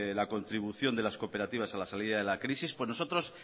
la contribución de las cooperativas a la salida de la crisis nosotros